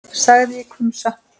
sagði ég hvumsa.